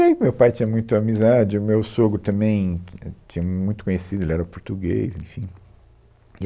E aí meu pai tinha muito amizade, o meu sogro também tinha muito conhecido, ele era português, enfim. E